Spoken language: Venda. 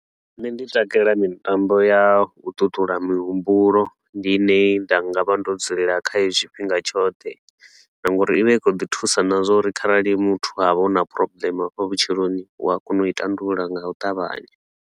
Nṋe ndi takalela mitambo ya u tutula mihumbulo, ndi ine nda nga vha ndo dzulela khayo tshifhinga tshoṱhe na ngauri i vha i khou ḓi thusa na zwa uri kharali muthu ha vha hu na problem a fha vhutshiloni, u a kona u i tandulula nga u ṱavhanya.